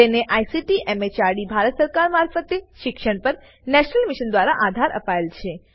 જેને ICT MHRD Bharat સરકાર મારફતે શિક્ષણ પર નેશનલ મિશન દ્વારા આધાર અપાયેલ છે